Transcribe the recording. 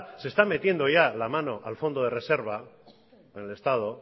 se está metiendo ya la mano al fondo de reserva en el estado